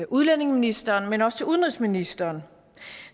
udlændingeministeren men også til udenrigsministeren